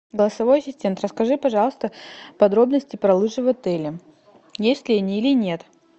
голосовой ассистент расскажи пожалуйста подробности про лыжи в отеле есть ли они или нет